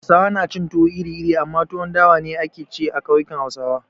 Hausawa na cin tuwo iri-iri amma tuwon dawa ne ake ci a kauyukan Hausawa.